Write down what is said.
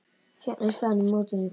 Hérna er staðan í mótinu.